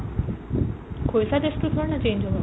খৰিকাৰ taste টো কিহৰ কাৰণে change হ'ব ?